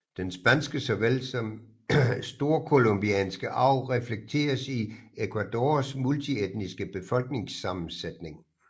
Den spanske såvel som storcolombianske arv reflekteres i Ecuadors multietniske befolkningssammensætning